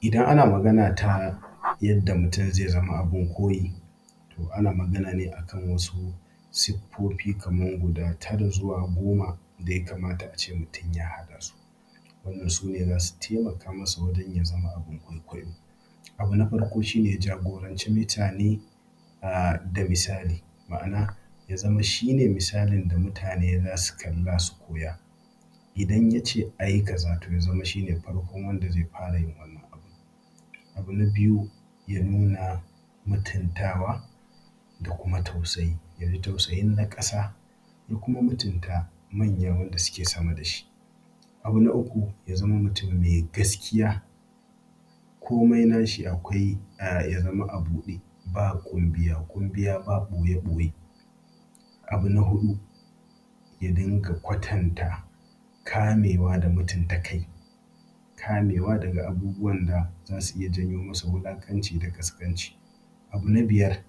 Idan ana magana ta yadda mutum zai zama abin koyi, to ana magana ne a kan wasu siffofi kaman guda tara zuwa goma daya kamata a ce mutum ya haɗa su. Wanda sune za su taimaka ma mutum ya zama abin kwaikwayo. Abu na farko shi ne jagoranci mutane da misali ma'ana ya zama shine misalin da mutane za su kalla su koya idan yace a yi kaza to ya zama shi ne na farkon wanda ya fara yin wannan abin. Abu na biyu, ya nuna mutuntawa da kuma tausayi ya fi tausayin na ƙasa ya kuma mutunta manya wadan suke sama da shi. Abu na uku shi ne mutum ya zama mai gaskiya komai na shi ya zama a buɗe ba ƙunbiya ƙunbiya, ba ɓoye ɓoye. Abu na hudu, ya dinga kwatanta kamewa da mutunta kai daga abubuwan da za su iya janyo masa wulaƙanci da ƙasƙanci. Abu na biyar,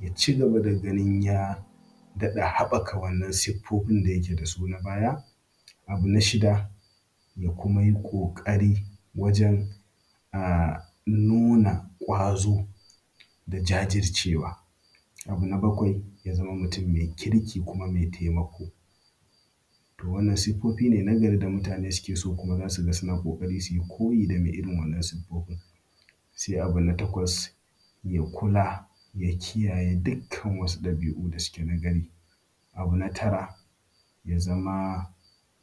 ya cigaba da ganin ya daɗa haɓaka wa'innan siffofin da yake da su na baya. Abu na shida, ya kuma yi ƙoƙari wajen nuna ƙwazo da jajircewa. Abu na bakwai, ya zama mutum mai kirki kuma taimako. To wannan siffofine na gari da mutane suke so kuma za su ga suna son su yi koyi da mai irin wannan siffofin. Sai abu na takwas, ya kula ya kiyaye dukkan wasu dabi'u da suke na gari. Abu na tara, ya zama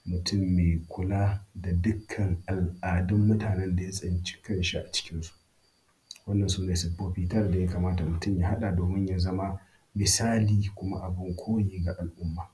mutum mai kula da dukkan al'adun mutanen da ya tsinci kan shi a cikinsu. Wannan sune siffofi tara da ya kamata mutum ya haɗa domin ya zama misali kuma abin koyi ga al'umma.